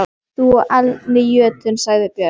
Þú aldni jötunn, sagði Björn.